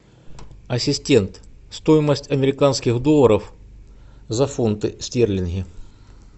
ассистент стоимость американских долларов за фунты стерлинги